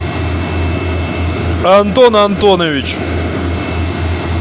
антон антонович